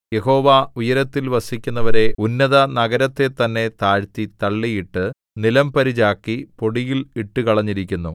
യഹോവ ഉയരത്തിൽ വസിക്കുന്നവരെ ഉന്നതനഗരത്തെതന്നെ താഴ്ത്തി തള്ളിയിട്ടു നിലംപരിചാക്കി പൊടിയിൽ ഇട്ടുകളഞ്ഞിരിക്കുന്നു